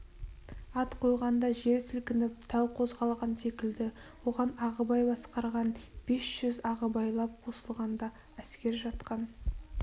ат қойғанда жер сілкініп тау қозғалған секілді оған ағыбай басқарған бес жүз ағыбайлап қосылғанда әскер жатқан